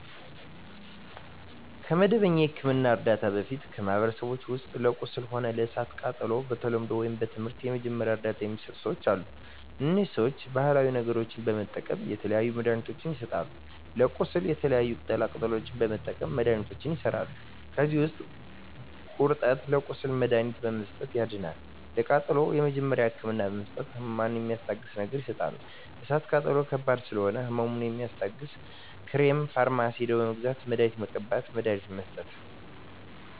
ከመደበኛ የሕክምና ዕርዳታ በፊት በማኀበረሰባችን ውስጥ ለቁስል ሆነ ለእሳት ቃጠሎው በተለምዶው ወይም በትምህርት የመጀመሪያ እርዳታ ሚሰጡ ሰዎች አሉ እነዚህ ሰዎች ባሀላዊ ነገሮች በመጠቀም የተለያዩ መድሀኒትችን ይሰጣሉ ለቁስል የተለያዩ ቅጠላ ቅጠሎችን በመጠቀም መድሀኒቶች ይሠራሉ ከዚህ ውስጥ ጉርጠብን ለቁስል መድሀኒትነት በመስጠት ያድናል ለቃጠሎ የመጀመሪያ ህክምና በመስጠት ህመሙን ሚስታግስ ነገር ይሰጣሉ እሳት ቃጠሎ ከባድ ስለሆነ ህመሙ የሚያስታግስ ክሬም ፈርማሲ ሄደው በመግዛት መድሀኒት መቀባት መድሀኒት መስጠት